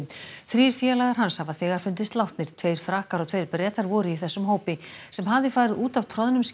þrír félagar hans hafa þegar fundist látnir tveir Frakkar og tveir Bretar voru í þessum hópi sem hafði farið út af